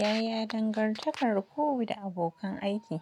Yaya dangantakar ku da abokan aiki?